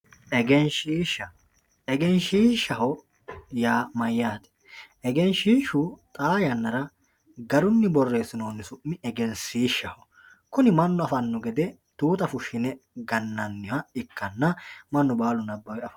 egenshiishsha egenshiishshaho yaa mayyaate egenshiishshu xaa yannara garunni borreessinoonni su'mi egensiishshaho kuni mannu afanno gede tuuta fushshine gannanniha ikkanna mannu baalu nabbawe afanno